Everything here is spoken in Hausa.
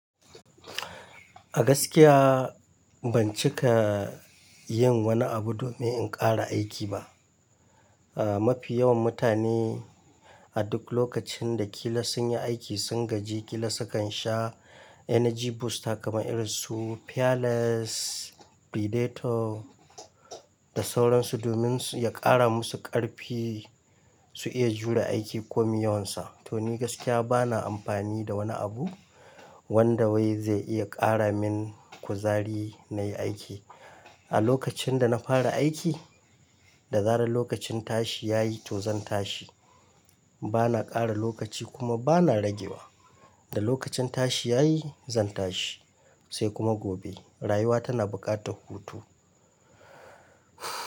A gaskiya ban cika yin wani abu domin in ƙara aiki ba. Ah mafi yawan mutane a duk lokacin da kila sun yi aiki, sun gaji kila sukan sha energy booster kamar irinsu Pearless, Predator. Da sauransu domin ya ƙara masu ƙarfi su iya jure aiki komi yawansa. To ni gaskiya bana amfani da wani abu wanda wai zai iya ƙara min kuzari na yi aiki. A lokacin da na fara aiki, da zaran lokacin tashi ya yi to zan tashi. Bana ƙara lokaci kuma bana ragewa. Da lokacin tashi ya yi zan tashi sai kuma gobe. Rayuwa tana buƙatar hutu.